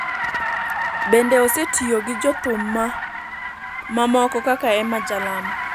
Bende osetiyo gi jothum maoko kaka Emmah Jalamo